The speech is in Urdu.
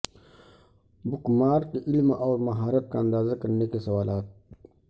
بک مارک علم اور مہارت کا اندازہ کرنے کے سوالات